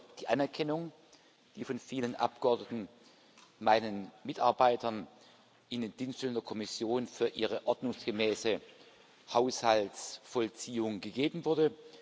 Ich danke für die Anerkennung, die von vielen Abgeordneten meinen Mitarbeitern in den Dienststellen der Kommission für ihre ordnungsgemäße Haushaltsvollziehung gegeben wurde.